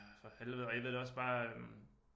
For helvede og jeg ved da også bare øh